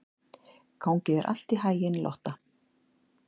Gangi þér allt í haginn, Lotta.